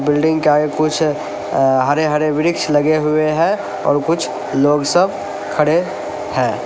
Building के आगे कुछ अ हरे हरे वृक्ष लगे हुए हैं और कुछ लोग सब खड़े हैं।